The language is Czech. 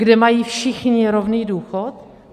Kde mají všichni rovný důchod?